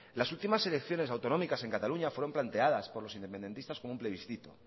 las últimas elecciones autonómicas en cataluña fueron planteadas por los independistas como un plebiscito